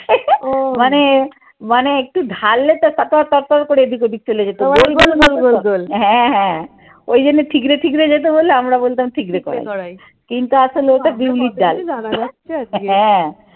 ও মানে মানে একটু ঢাললে তো ফর তর করে এদিক ওদিক চলে যেত গোল গোল গোল। হ্যাঁ হ্যাঁ। ওই জন্য ঠিকরে ঠিকরে যেতে বলে আমরা বলতাম ঠিকরে কিন্তু আসলে ওটা বিউলির ডাল। হ্যাঁ